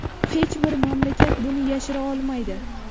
Hech bir mamlakat buni yashira olmaydi.